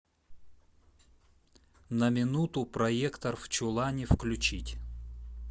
на минуту проектор в чулане включить